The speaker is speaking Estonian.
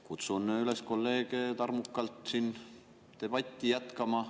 Kutsun kolleege üles siin tarmukalt debatti jätkama.